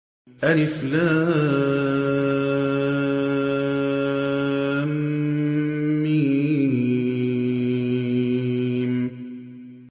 الم